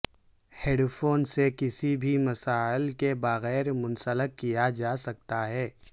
head phone سے کسی بھی مسائل کے بغیر منسلک کیا جا سکتا ہے